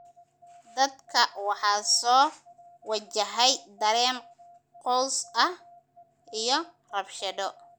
Dadka waxaa soo wajahay dareen quus ah iyo rabshado.